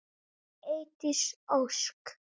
Eydís Ósk.